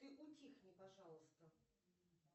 ты утихни пожалуйста